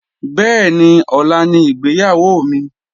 Bẹ́ẹ̀ni, ọ̀la ni ìgbéyàwó mi